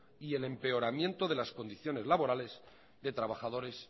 y el empeoramiento de las condiciones laborales de trabajadores